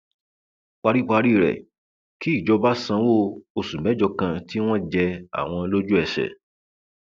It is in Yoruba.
paríparí rẹ kí ìjọba sanwó oṣù mẹjọ kan tí wọn jẹ àwọn lójúẹsẹ